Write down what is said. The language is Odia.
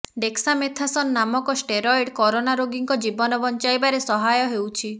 ଡେକ୍ସାମେଥାସନ ନାମକ ଷ୍ଟେରୟେଡ କରୋନା ରୋଗୀଙ୍କ ଜୀବନ ବଂଚାଇବାରେ ସହାୟ ହେଉଛି